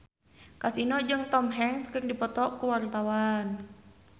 Kasino jeung Tom Hanks keur dipoto ku wartawan